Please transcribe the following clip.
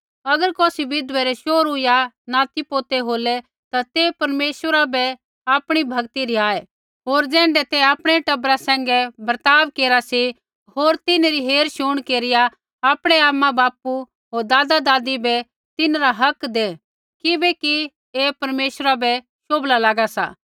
अगर कौसी विधवै रै शोहरू या नातीपोतै होलै ता ते परमेश्वरा बै आपणी भक्ति रिहाऐ होर ज़ैण्ढै ते आपणै टबरा सैंघै बर्ताव केरा सी होर तिन्हरी हेरशुण केरिया आपणै आमाबापू होर दादादादी बै तिन्हरा हक दै किबैकि ऐही परमेश्वरा बै शोभला लागा सा